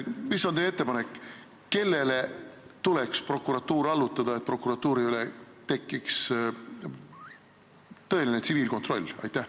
Mis on teie ettepanek, kellele tuleks prokuratuur allutada, et prokuratuuri üle tekiks tõeline tsiviilkontroll?